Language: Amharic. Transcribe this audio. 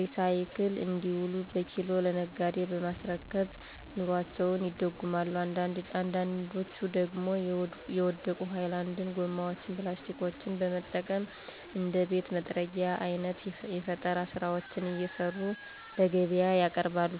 ሪሳይክል እንዲውሉ በኪሎ ለነጋዴ በማስረከብ ኑሮአቸውን ይደጉማሉ አንዳንዶች ደግሞ የወደቁ ሀይላንድ ጎማዎችን (ፕላስቲኮችን) በመጠቀም እንደ ቤት መጥረጊያ አይነት የፈጠራ ስራዎችን እየሰሩ ለገቢያ ያቀርባሉ።